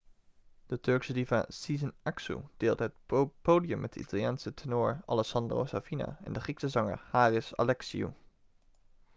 de turkse diva sezen aksu deelde het podium met de italiaanse tenor alessandro safina en de grieke zanger haris alexiou